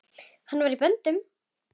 Hann var í böndum.